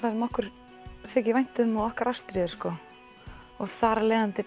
sem okkur þykir vænt um og okkar ástríður og þar af leiðandi